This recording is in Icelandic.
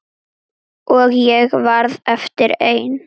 Og ég varð eftir ein.